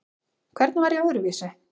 Hvernig var ég öðruvísi?